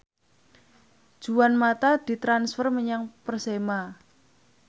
Juan mata ditransfer menyang Persema